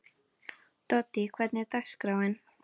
Doddý, hvernig er dagskráin?